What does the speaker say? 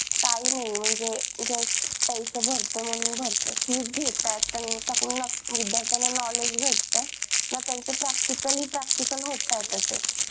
काही नाही म्हणजे just पैसा भरतोय म्हणून भरतोय fees घेताय तर तुमच्याकडंन विद्यार्थ्यांना knowledge भेटतय ना त्यांचे practically practical होतायत असे